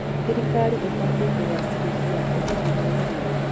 Thirikari ĩbatiĩ kũgacĩrithia ũgitĩri wa irio.